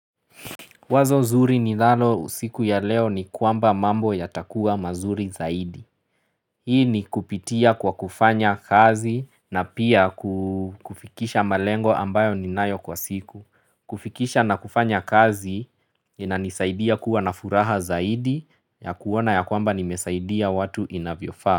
Wazo zuri ni lalo usiku ya leo ni kwamba mambo ya takua mazuri zaidi. Hii ni kupitia kwa kufanya kazi na pia kufikisha malengo ambayo ni nayo kwa siku. Kufikisha na kufanya kazi na nisaidia kuwa na furaha zaidi ya kuwana ya kwamba nimesaidia watu inavyofaa.